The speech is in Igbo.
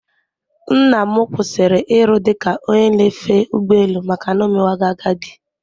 Nnam kwụsịrị iru dị ka onye na-efe ụgbọ elu maka na omewago agadi